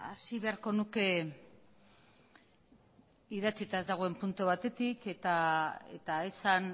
hasi beharko nuke idatzita ez dagoen puntu batetik eta esan